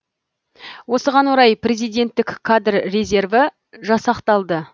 осыған орай президенттік кадр резерві жасақталды